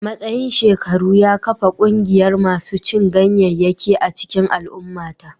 Matsayin shekaru ya kafa ƙungiyar masu cin ganyayyaki a cikin al'ummata